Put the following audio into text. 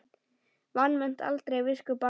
Vanmet aldrei visku barna.